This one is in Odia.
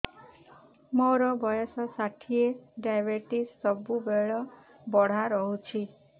ମୋର ବର୍ଷ ଷାଠିଏ ଡାଏବେଟିସ ସବୁବେଳ ବଢ଼ା ରହୁଛି